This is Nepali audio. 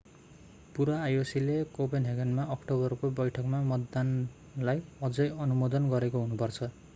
पूरा ioc ले कोपेनहेगनमा अक्टोबरको बैठकमा मतदानलाई अझै अनुमोदन गरेको हुनु पर्छ